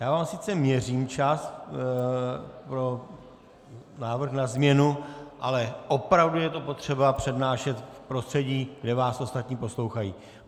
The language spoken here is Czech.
Já vám sice měřím čas pro návrh na změnu, ale opravdu je potřeba to přednášet v prostředí, kde vás ostatní poslouchají.